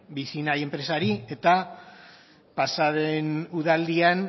vicinay enpresari eta pasa den udaldian